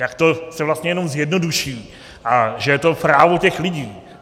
Jak se to vlastně jenom zjednoduší a že je to právo těch lidí.